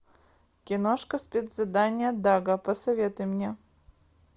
киношка спецзадание дага посоветуй мне